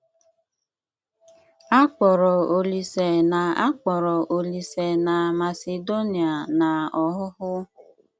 Akpọ̀rọ̀ Olíse na Akpọ̀rọ̀ Olíse na Masedonia n’ọ́hụ́hụ́.